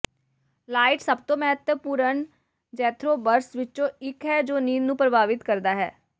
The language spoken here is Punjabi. ਲਾਈਟ ਸਭ ਤੋਂ ਮਹੱਤਵਪੂਰਨ ਜ਼ੈਥਗੇਬਰਸ ਵਿੱਚੋਂ ਇੱਕ ਹੈ ਜੋ ਨੀਂਦ ਨੂੰ ਪ੍ਰਭਾਵਿਤ ਕਰਦਾ ਹੈ